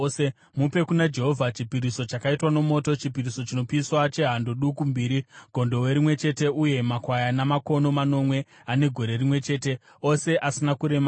Mupe kuna Jehovha chipiriso chakaitwa nomoto, chipiriso chinopiswa chehando duku mbiri, gondobwe rimwe chete uye makwayana makono manomwe ane gore rimwe chete, ose asina kuremara.